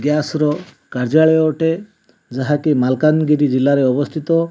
Gas ର କାର୍ଯ୍ୟାଳୟ ଅଟେ ଯାହାକି ମାଲକାନଗିରି ଜିଲ୍ଲାରେ ଅବସ୍ଥିତ।